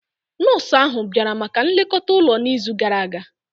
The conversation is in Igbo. Nọọsụ ahụ bịara maka nlekọta ụlọ n'izu gara aga?